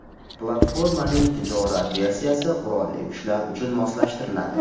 Platformaning tijorat versiyasi qurolli kuchlar uchun moslashtiriladi.